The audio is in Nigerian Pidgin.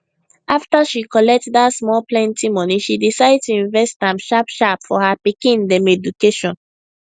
afta she collect dat small plenty money she decide to invest am sharpsharp for her pikin dem education